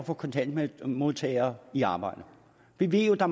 at få kontanthjælpsmodtagere i arbejde vi ved jo at der